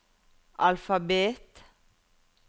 alfabet